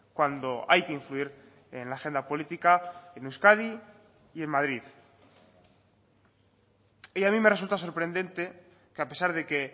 cuando hay que influir en la agenda política en euskadi y en madrid y a mí me resulta sorprendente que a pesar de que